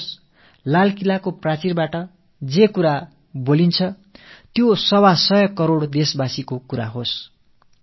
செங்கோட்டைக் கொத்தளத்திலிருந்து தெரிவிக்கப்படுபவை 125 கோடிமக்களுடைய உணர்வுகளாக இருக்க வேண்டும்